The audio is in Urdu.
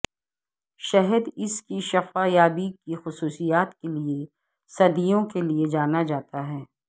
شہد اس کی شفا یابی کی خصوصیات کے لئے صدیوں کے لئے جانا جاتا ہے